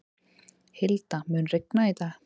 Hilda, mun rigna í dag?